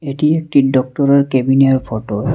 এটি একটি ডক্টরের কেবিনের ফটো ।